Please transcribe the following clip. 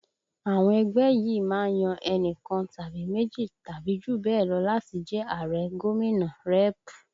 Àwọn ẹgbẹ́ yìí má ń yan enikan tàbí méjì tàbí jù bẹ́ẹ̀ lọ láti jẹ Ààrẹ, gómìnà, rẹ́ẹ̀pù